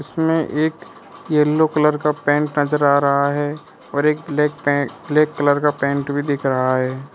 इसमें एक yellow colour का पैंट नजर आ रहा है और एक ब्लैक पे ब्लैक कलर का पैंट भी दिख रहा है।